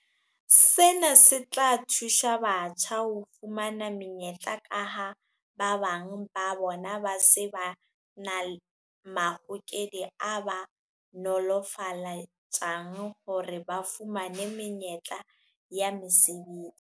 Sena se tla thusa batjha ho fumana menyetla kaha ba bang ba bona ba se na mahokedi a ba nolofaletsang hore ba fumane menyetla ya mesebetsi.